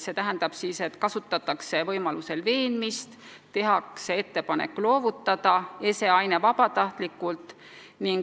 See tähendab, et võimaluse korral kasutatakse veenmist ja tehakse ettepanek loovutada ese/aine vabatahtlikult.